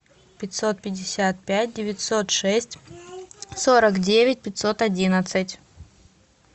пятьсот пятьдесят пять девятьсот шесть сорок девять пятьсот одиннадцать